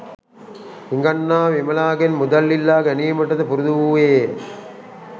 හිඟන්නා විමලාගෙන් මුදල් ඉල්ලා ගැනීමටද පුරුදු වූවේය